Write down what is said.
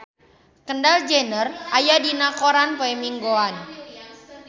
Kendall Jenner aya dina koran poe Minggon